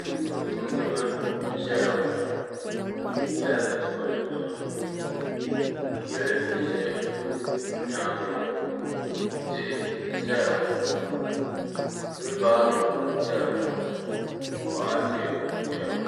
tumtumdiba n-zaya ŋɔ bɛ yela bɛ tuma ni nɛma yili n-za nyaaŋa ŋɔ tihi n-zaya ŋɔ fiibaaro n-zaya ŋɔ bɔɣati n-zaya ŋɔ